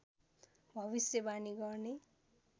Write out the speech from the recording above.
भविष्यवाणी गर्ने